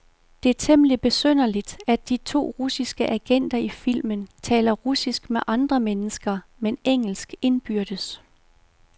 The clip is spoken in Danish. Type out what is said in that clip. Det er temmeligt besynderligt, at de to russiske agenter i filmen taler russisk med andre mennesker, men engelsk indbyrdes.